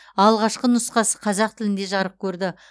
алғашқы нұсқасы қазақ тілінде жарық көрді